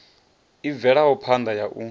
i bvelaho phanda ya u